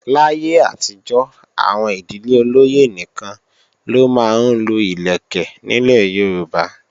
Láyé àtijọ́, àwọn ìdílé olóyè nìkan ló máa ń lo ìlẹ̀kẹ̀ nílẹ̀ Yorùbá